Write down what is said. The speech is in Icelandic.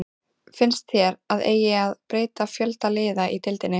Finnst þér að eigi að breyta fjölda liða í deildinni?